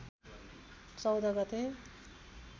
१४ गते